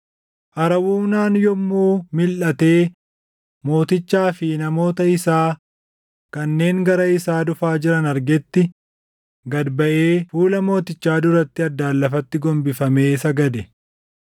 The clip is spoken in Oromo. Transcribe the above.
Arawunaan yommuu milʼatee mootichaa fi namoota isaa kanneen gara isaa dhufaa jiran argetti, gad baʼee fuula mootichaa duratti addaan lafatti gombifamee sagade.